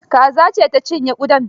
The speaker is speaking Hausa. Kaza ce ta cinye kudan.